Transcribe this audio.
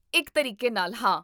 ਇੱਕ ਤਰੀਕੇ ਨਾਲ, ਹਾਂ